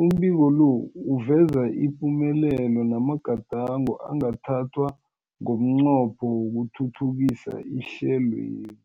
Umbiko lo uveza ipumelelo namagadango angathathwa ngomnqopho wokuthuthukisa ihlelweli.